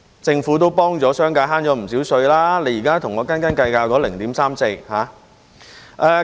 政府幫助商界節省了不少稅款，現在卻跟我們斤斤計較那 0.34 個百分點。